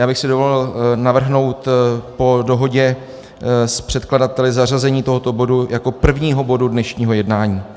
Já bych si dovolil navrhnout po dohodě s předkladateli zařazení tohoto bodu jako prvního bodu dnešního jednání.